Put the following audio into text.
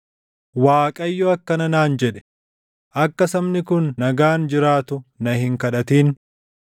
Waaqayyo akkana naan jedhe; “Akka sabni kun nagaan jiraatu na hin kadhatin.